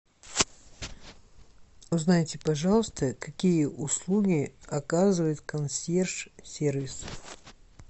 узнайте пожалуйста какие услуги оказывает консьерж сервис